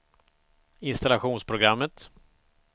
installationsprogrammet